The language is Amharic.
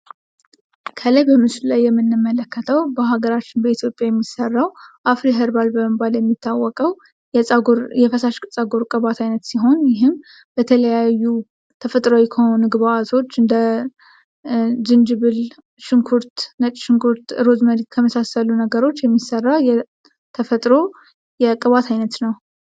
ከላይ በምስሉ ላይ የምንመለከተው በሀገራችን በኢትዮጵያ የሚሰራውን አፍሪ ኸርባል በመባል የሚታወቀው የፈሳሽ ጸጉር ቅባት አይነት ሲሆን የተለያዩ ተፈጥሯዊ ከሆኑ ግብአቶች እንደ ዝንጅብል ሽንኩርት ነጭ ሽንኩርት ሩዝ ከመሳሰሉት ነገሮች የሚሰራ የተፈጥሮ የቅባት አይነት ነው።